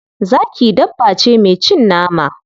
Zaki dabba ce mai cin nama.